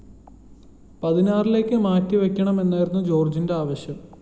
പതിനാറിലേക്ക് മാറ്റിവയ്ക്കണമെന്നായിരുന്നു ജോര്‍ജിന്റെ ആവശ്യം